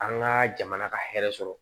An ka jamana ka hɛrɛ sɔrɔ